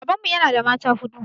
Babanmu ya na da mata huɗu